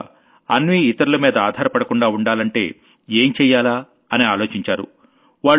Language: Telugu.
తర్వాత అన్వీ ఇతరుల మీద ఆధారపడకుండా ఉండాలంటే ఏం చెయ్యాలా అని ఆలోచించారు